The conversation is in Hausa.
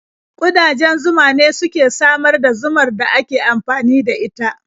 Ƙudajen zuma ne suke samar da zumar da ake amfani da ita.